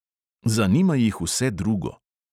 Zanima jih vse drugo.